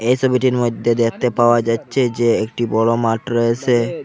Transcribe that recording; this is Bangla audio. এই সোবিটির মইধ্যে দেখতে পাওয়া যাচ্ছে যে একটি বড় মাঠ রয়েসে।